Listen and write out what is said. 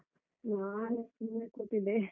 ನಾನು ಸುಮ್ನೆ ಕೂತಿದ್ದೆ.